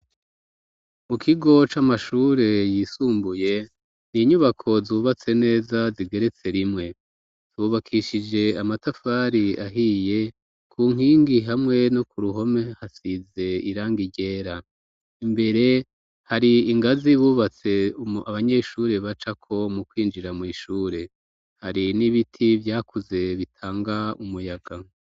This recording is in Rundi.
Mu kigo c'amashure yisumbuye, n'inyubako zubatse neza zigeretse rimwe. Zubakishije amatafari ahiye. Ku nkingi hamwe no k'uruhome, hasize irang ryera. Imbere har'ingazi bubatse abanyeshuri bacako mu kwinjira mw'ishure. Hari n'ibiti vyakuze bitanga umuyaga.